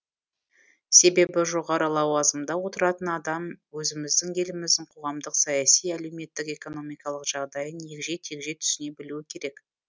себебі жоғары лауазымда отыратын адам өзіміздің еліміздің қоғамдық саяси әлеуметтік экономикалық жағдайын егжей тегжей түсіне білуі керек